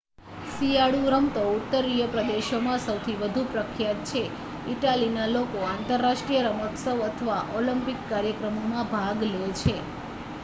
શિયાળુ રમતો ઉત્તરીય પ્રદેશોમાં સૌથી વધુ પ્રખ્યાત છે ઈટાલીના લોકો આંતરરાષ્ટ્રીય રમોત્સવ અને ઓલિમ્પિક કાર્યક્રમોમાં ભાગ લે છે